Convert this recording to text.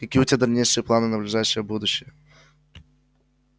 какие у тебя дальнейшие планы на ближайшее будущее